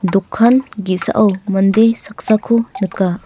dokan ge·sao mande saksako nika.